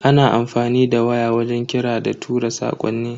Ana amfani da waya wajen kira da tura sakonni.